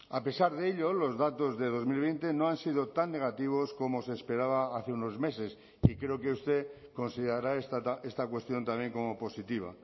a pesar de ello los datos de dos mil veinte no han sido tan negativos como se esperaba hace unos meses y creo que usted considerará esta cuestión también como positiva